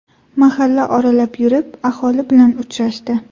Mahalla oralab yurib, aholi bilan uchrashdi.